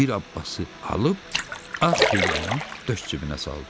Bir Abbası alıb ağ pencəyini döş cibinə saldı.